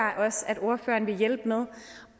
at ordføreren vil hjælpe med